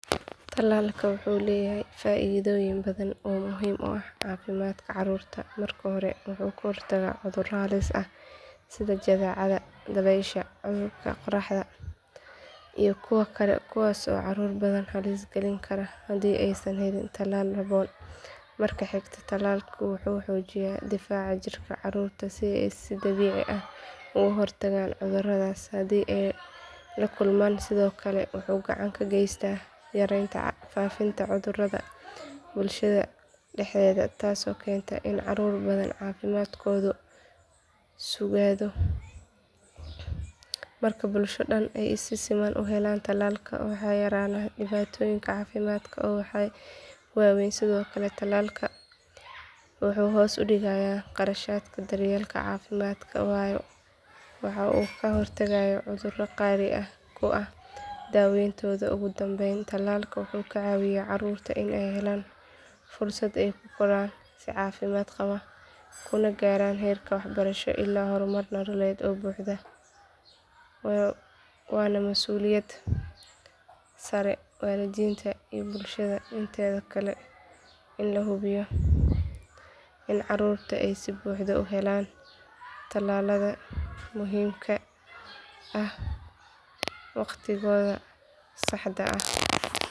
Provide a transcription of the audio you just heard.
Tallalku wuxuu leeyahay faa'iidooyin badan oo muhiim u ah caafimaadka caruurta marka hore wuxuu ka hortagaa cudurro halis ah sida jadeecada dabaysha cudurka qaaxada iyo kuwo kale kuwaas oo caruur badan halis gelin kara haddii aysan helin tallaal habboon marka xiga tallaalku wuxuu xoojiyaa difaaca jirka caruurta si ay si dabiici ah uga hortagaan cuduradaas haddii ay la kulmaan sidoo kale wuxuu gacan ka geystaa yareynta faafitaanka cudurrada bulshada dhexdeeda taasoo keenta in caruur badan caafimaadkoodu sugaado marka bulsho dhan ay si siman u helaan tallaalka waxaa yaraanaya dhibaatooyin caafimaad oo waaweyn sidoo kale tallalka wuxuu hoos u dhigaa kharashaadka daryeelka caafimaadka waayo waxa uu ka hortagaa cudurro qaali ku ah daaweyntooda ugu dambayn tallalka wuxuu ka caawiyaa caruurta inay helaan fursad ay ku koraan si caafimaad qaba kuna gaaraan heer waxbarasho iyo horumar nololeed oo buuxa waana masuuliyad saaran waalidiinta iyo bulshada inteeda kale in la hubiyo in caruurta ay si buuxda u helaan tallaalada muhiimka ah wakhtigooda saxda ah